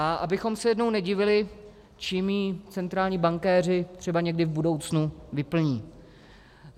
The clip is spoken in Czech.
A abychom se jednou nedivili, čím ho centrální bankéři třeba někdy v budoucnu vyplní.